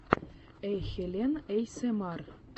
хэйхелен эйэсэмар